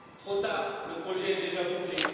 Trop tard, le projet est déjà bouclé!